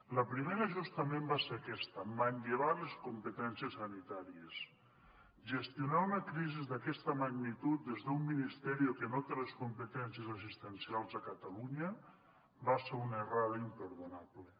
la primera justament va ser aquesta manllevar les competències sanitàries gestionar una crisi d’aquesta magnitud des d’un ministerio que no té les competències assistencials a catalunya va ser una errada imperdonable